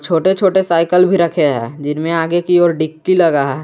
छोटे छोटे साइकल भी रखे हैं जिनमें आगे की ओर डिग्गी लगा है।